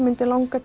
langar